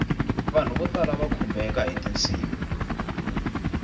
vanhu vo tala va khumbeka hiti nsimu